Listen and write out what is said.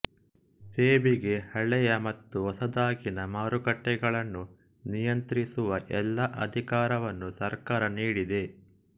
ಸೆಬಿಗೆ ಹಳೆಯ ಮತ್ತು ಹೊಸದಾಗಿನ ಮಾರುಕಟ್ಟೆಗಳನ್ನು ನಿಯಂತ್ರಿಸುವ ಎಲ್ಲಾ ಅಧಿಕಾರವನ್ನು ಸರ್ಕಾರ ನೀಡಿದೆ